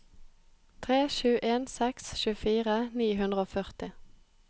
tre sju en seks tjuefire ni hundre og førti